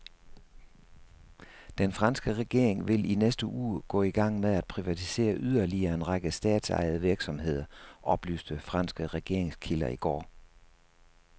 Den franske regering vil i næste uge gå i gang med at privatisere yderligere en række statsejede virksomheder, oplyste franske regeringskilder i går.